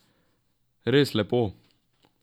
Res lepo.